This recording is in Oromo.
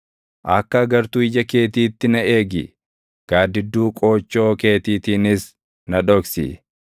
Akka agartuu ija keetiitti na eegi; gaaddidduu qoochoo keetiitiinis na dhoksi;